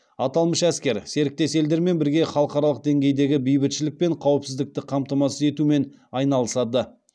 аталмыш әскер серіктес елдермен бірге халықаралық деңгейдегі бейбітшілік пен қауіпсіздікті қамтамасыз етумен айналысады